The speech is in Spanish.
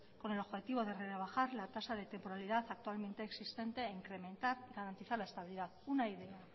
con el objetivo de rebajar la tasa de temporalidad actualmente existente e incrementar y garantizar la estabilidad una idea